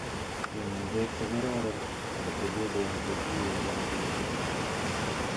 Konuun beek che kororoon ak kotililen che kiyee kila betut.